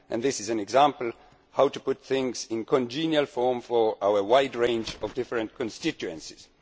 This is an example of how to put things in a congenial form for our wide range of different constituencies.